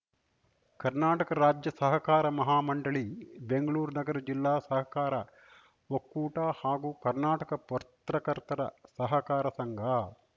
ಕರ್ನಾಟಕ ರಾಜ್ಯ ಸಹಕಾರ ಮಹಾ ಮಂಡಳಿ ಬೆಂಗಳೂರು ನಗರ ಜಿಲ್ಲಾ ಸಹಕಾರ ಒಕ್ಕೂಟ ಹಾಗೂ ಕರ್ನಾಟಕ ಪತ್ರಕರ್ತರ ಸಹಕಾರ ಸಂಘ